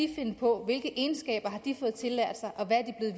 de finde på hvilke egenskaber har de fået tillært sig og hvad